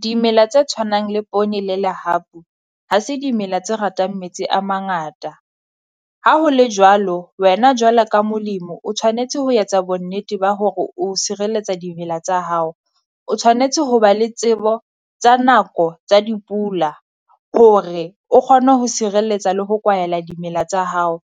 Dimela tse tshwanang le poone le lehapu, ha se dimela tse ratang metsi a mangata. Ha ho le jwalo wena jwalo ka molemo o tshwanetse ho etsa bonnete ba hore o sireletsa dimela tsa hao. O tshwanetse ho ba le tsebo tsa nako tsa dipula hore o kgone ho sireletsa le ho kwahela dimela tsa hao,